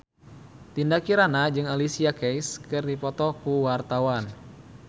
Dinda Kirana jeung Alicia Keys keur dipoto ku wartawan